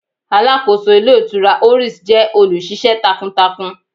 Aláàkóso Ilé Ìtura Oris jẹ́ olù ṣiṣẹ́ takuntakun